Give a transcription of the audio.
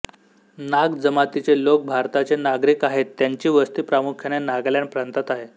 नाग जमातीचे लोक भारताचे नागरिक आहेत त्यांची वस्ती प्रामुख्याने नागालॅंड प्रांतात आहे